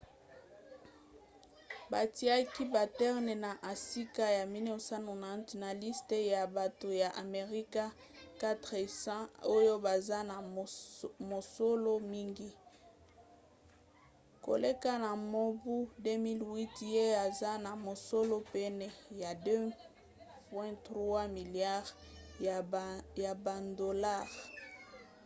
batiaki batten na esika ya 190 na liste ya bato ya amerika 400 oyo baza na mosolo mingi koleka na mobu 2008 ye aza na mosolo pene ya 2,3 miliare ya badolare